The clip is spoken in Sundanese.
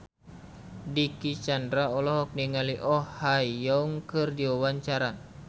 Dicky Chandra olohok ningali Oh Ha Young keur diwawancara